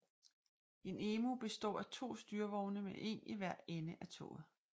En EMU består af to styrevogne med en i hver ende af toget